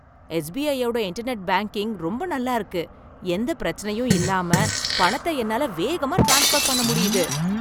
எஸ்பிஐயோட internet banking ரொம்ப நல்லா இருக்கு. எந்த பிரச்சனையும் இல்லாம பணத்தை என்னால வேகமா ட்ரான்ஸ்ஃபர் பண்ண முடியுது.